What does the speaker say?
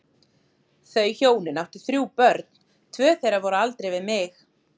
Þau hjónin áttu þrjú börn, tvö þeirra voru á aldri við mig.